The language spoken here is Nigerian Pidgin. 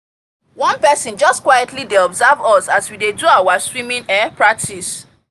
one person just quietly dey observe us as we dey do our swimming um practice